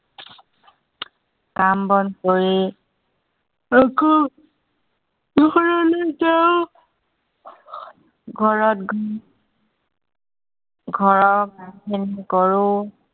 কাম-বন কৰি আকৌ ঘৰলৈ যাও। ঘৰত গৈ ঘৰৰ কামখিনি কৰো।